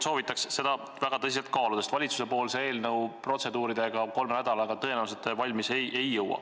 Soovitan seda väga tõsiselt kaaluda, sest valitsuse eelnõu protseduuridega te kolme nädalaga tõenäoliselt valmis ei jõua.